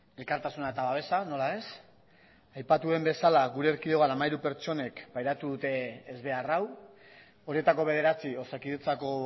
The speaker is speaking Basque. elkartasuna eta babesa nola ez aipatu den bezala gure erkidegoan hamairu pertsonek pairatu dute ezbehar hau horretako bederatzi osakidetzako